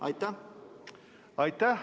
Aitäh!